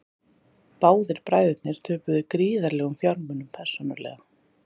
Báðir bræðurnir töpuðu gríðarlegum fjármunum persónulega